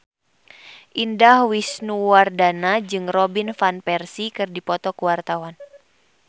Indah Wisnuwardana jeung Robin Van Persie keur dipoto ku wartawan